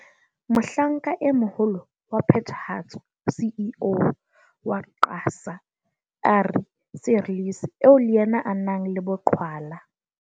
Mohlanka e moholo wa Phethahatso CEO wa QASA, Ari Seirlis eo le yena a nang le boqhwala.